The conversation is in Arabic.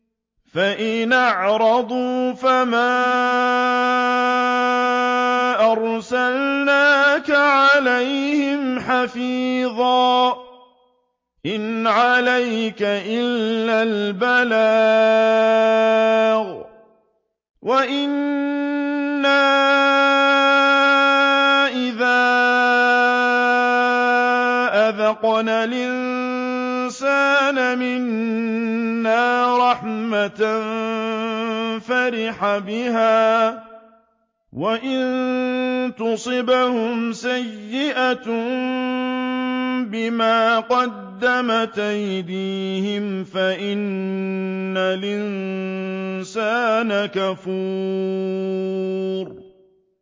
فَإِنْ أَعْرَضُوا فَمَا أَرْسَلْنَاكَ عَلَيْهِمْ حَفِيظًا ۖ إِنْ عَلَيْكَ إِلَّا الْبَلَاغُ ۗ وَإِنَّا إِذَا أَذَقْنَا الْإِنسَانَ مِنَّا رَحْمَةً فَرِحَ بِهَا ۖ وَإِن تُصِبْهُمْ سَيِّئَةٌ بِمَا قَدَّمَتْ أَيْدِيهِمْ فَإِنَّ الْإِنسَانَ كَفُورٌ